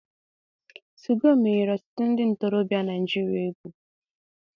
2go menyere otutu ndi ntorobia Naijiria egwu.